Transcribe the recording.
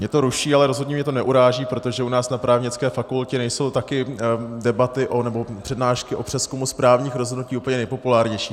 Mě to ruší, ale rozhodně mě to neuráží, protože u nás na právnické fakultě nejsou také debaty nebo přednášky o přezkumu správních rozhodnutí úplně nejpopulárnější.